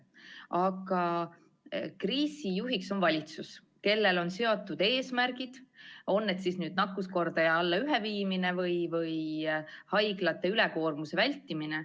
Aga kriisi lahendamist juhib valitsus, kellel on seatud eesmärgid, on need siis nakkuskordaja alla ühe viimine või haiglate ülekoormuse vältimine.